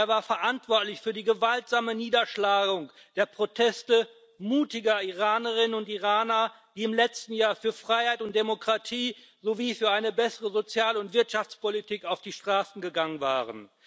Er war verantwortlich für die gewaltsame Niederschlagung der Proteste mutiger Iranerinnen und Iraner, die im letzten Jahr für Freiheit und Demokratie sowie für eine bessere Sozial und Wirtschaftspolitik auf die Straßen gegangen waren.